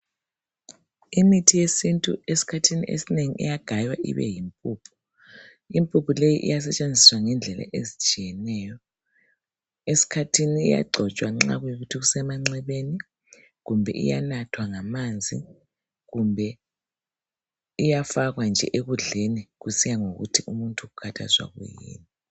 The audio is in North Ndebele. Imithi yesintu esikhathini esinengi iyagaywa ibe yimpuphu, impuphu leyi iyasetshenziswa ngendlela ezitshiyeneyo esikhathini iyagcotshwa nxa kuyikuthi kusemanxebeni kumbe iyanathwa ngamanzi kumbe iyafakwa nje ekudleni kusiya ngokuthi umuntu ukhathazwa yini.